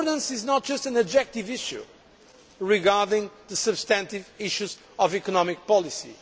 today. Governance is not just an objective issue regarding the substantive issues of economic